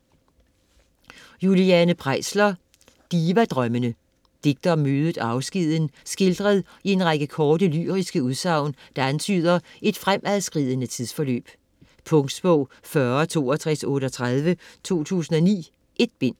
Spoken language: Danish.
Preisler, Juliane: Divadrømmende Digte om mødet og afskeden skildret i en række korte, lyriske udsagn, der antyder et fremadskridende tidsforløb. Punktbog 406238 2009. 1 bind.